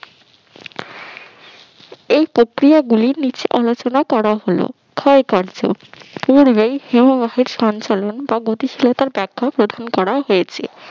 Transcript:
এই প্রক্রিয়াগুলি নিচে আলোচনা করা হলো ক্ষয়কার্য পূর্বেই হিমবাহের সঞ্চালন বা গতিশীলতা র ব্যাখ্যা প্রদান করা হয়েছে